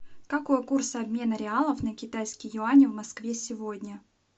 какой курс обмена реалов на китайские юани в москве сегодня